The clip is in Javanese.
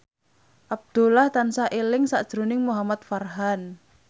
Abdullah tansah eling sakjroning Muhamad Farhan